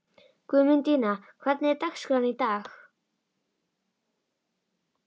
Guðmundína, hvernig er dagskráin í dag?